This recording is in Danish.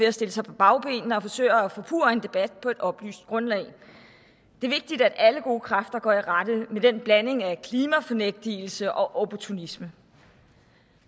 at stille sig på bagbenene og forsøge at forpurre en debat på et oplyst grundlag det er vigtigt at alle gode kræfter går i rette med den blanding af klimafornægtelse og opportunisme